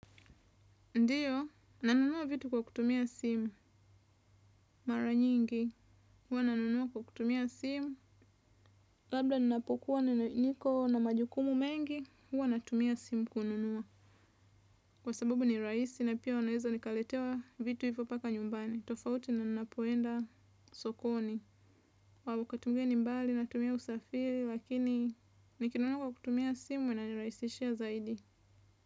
Ndio nanunua vitu kwa kutumia simu mara nyingi huwa nanunua kutumia simu labda ninapokuwa nikona majukumu mengi huwa natumia simu kununua. Kwa sababu ni rahisi na pia naeza nikaletewa vitu hivyo mpaka nyumbani, tofauti na ninapoenda sokoni. Kwa sababu natumia usafiri kwa hivyo nikinunua kwa simu inanirahisoshia zaidi.